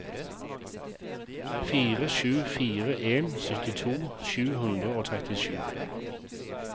fire sju fire en syttito sju hundre og trettisju